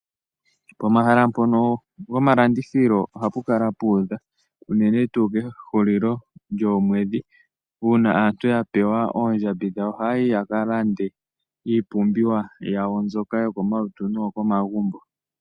Pomahala mpono gomalandithilo oha pu kala pu udha. Unene tu kehulilo lyoomwedhi una aantu ya pewa oondjambi dhawo. Oha yi yaka landithe iipumbiwa yawo mbyoka yokomalutu noyo komagumbo.